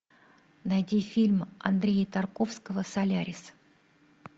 найди фильм андрея тарковского солярис